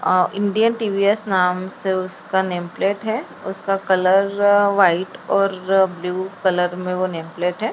अ Indian TVS नाम से उसका नेम प्लेट है उसका कलर रर व्हाइट अअ और ब्लू कलर में वो नेम प्लेट है।